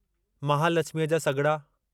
महालछिमीअ जा सॻिड़ा